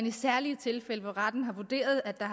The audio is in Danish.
i særlige tilfælde hvor retten har vurderet at der